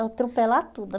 Atropelar tudo.